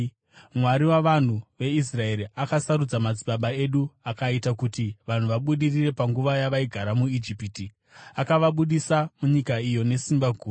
Mwari wavanhu veIsraeri akasarudza madzibaba edu; akaita kuti vanhu vabudirire panguva yavaigara muIjipiti, akavabudisa munyika iyo nesimba guru,